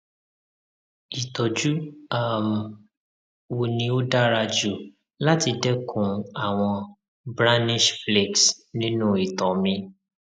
ìtọjú um wo ni ó dára jù láti dẹkun àwọn brownish flakes nínú ito mi